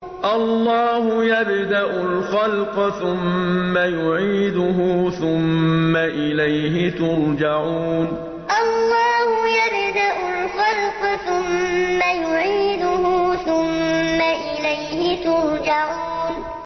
اللَّهُ يَبْدَأُ الْخَلْقَ ثُمَّ يُعِيدُهُ ثُمَّ إِلَيْهِ تُرْجَعُونَ اللَّهُ يَبْدَأُ الْخَلْقَ ثُمَّ يُعِيدُهُ ثُمَّ إِلَيْهِ تُرْجَعُونَ